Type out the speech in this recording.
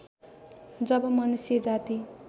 जब मनुष्य जाति